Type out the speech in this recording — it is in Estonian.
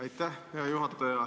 Aitäh, hea juhataja!